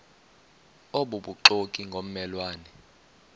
obubuxoki ngomme lwane